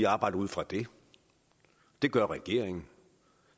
arbejde ud fra det det gør regeringen